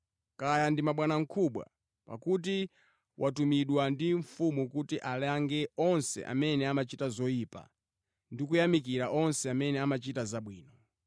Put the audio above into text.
kaya ndi mabwanamkubwa, pakuti watumidwa ndi mfumu kuti alange onse amene amachita zoyipa ndi kuyamikira onse amene amachita zabwino.